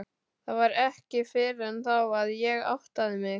Það var ekki fyrr en þá að ég áttaði mig.